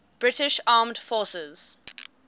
british armed forces